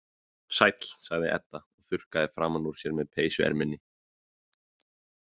Sæll, sagði Edda og þurrkaði framan úr sér með peysuerminni.